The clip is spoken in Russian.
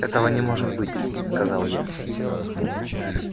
этого не может быть сказал я